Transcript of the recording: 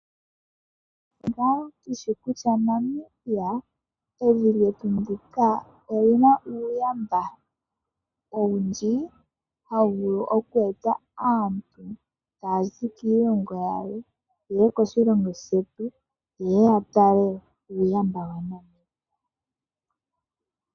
Onawa tushi kutya Namibia evi lyetu ndika oli na uuyamba owundji hawu vulu kweeta aantu taya zi kiilongo yilwe ye ye koshilongo shetu ye ye yatale uuyamba waNamibia.